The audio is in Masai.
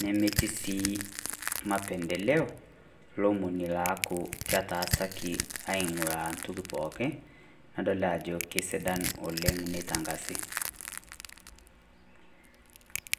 nemetii sii mapendeleo lemoni leaku ketaasaki aing'urra ntoki pookin, nedoli ajo kesidai neitangazi.